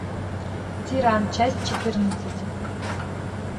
тиран часть четырнадцать